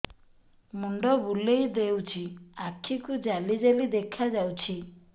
ମୁଣ୍ଡ ବୁଲେଇ ଦେଉଛି ଆଖି କୁ ଜାଲି ଜାଲି ଦେଖା ଯାଉଛି